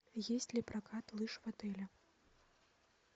есть ли прокат лыж в отеле